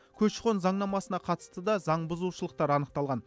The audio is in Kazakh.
көші қон заңнамасына қатысты да заңбұзушылықтар анықталған